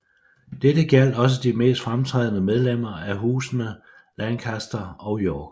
Dette gjaldt også de mest fremtrædende medlemmer af husene Lancaster og York